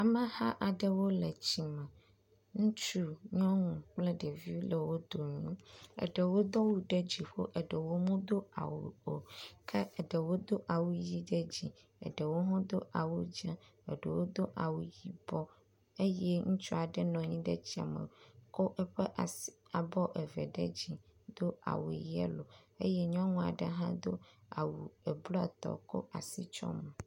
Ameha aɖrwo le tsi me. Ŋutsu, nyɔnu kple ɖeviwo le wo dome. Eɖewo do awu ɖe dziƒo eɖewo medo awu o ke eɖewo do awu ʋi ɖe dzi eɖewo hã do awu dze ɖewo hã do awu yibɔ eye ŋutsu aɖe nɔ anyi ɖe tsia me kɔ eƒe as abɔ eve ɖe dzi do awu yelo eye nyɔnu aɖe hã do awu eblɔ tɔ kɔ asi kɔ tsɔ mo.